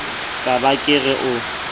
ka ba ke re o